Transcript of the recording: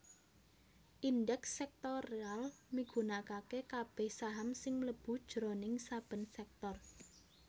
Indèks Sèktoral migunakaké kabèh saham sing mlebu jroning saben sèktor